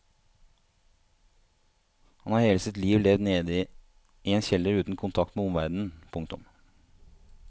Han har hele sitt liv levd nede i en kjeller uten kontakt med omverdenen. punktum